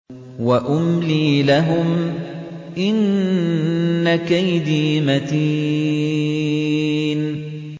وَأُمْلِي لَهُمْ ۚ إِنَّ كَيْدِي مَتِينٌ